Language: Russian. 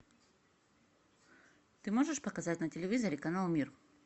ты можешь показать на телевизоре канал мир